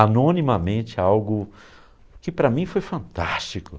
Anonimamente algo que para mim foi fantástico.